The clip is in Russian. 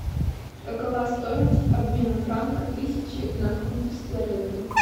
какова стоимость обмена франка тысячи на фунты стерлинги